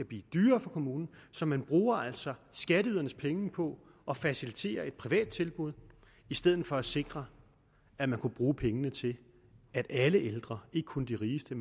blive dyrere for kommunen så man bruger altså skatteydernes penge på at facilitere et privat tilbud i stedet for at sikre at man kunne bruge pengene til at alle ældre ikke kun de rigeste